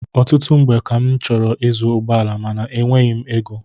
Ọtụtụ mgbe ka m chọrọ ịzụ ụgbọala ma enweghị m égo